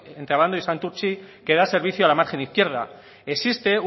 entre abando y santurtzi que da servicio a la margen izquierda existe